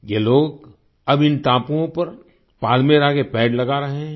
ये लोग अब इन टापुओं पर पाल्मेरा के पेड़ लगा रहे हैं